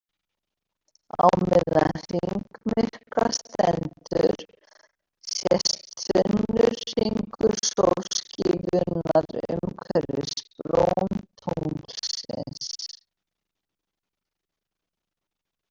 Á meðan hringmyrkva stendur sést þunnur hringur sólskífunnar umhverfis brún tunglsins.